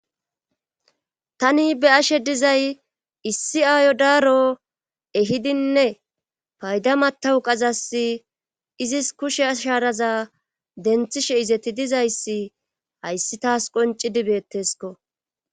Tani be ashe dizay issi aayo daaro ehidinne payda matawu qazas izis kushe asharaza denthishe izeti dizayssi hayssi taas qoncidi beettesko.